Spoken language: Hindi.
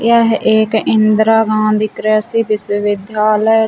यह एक इंदिरा गाँधी कृषि विश्वविद्यालय--